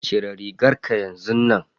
Cire rigarka yanzun nan.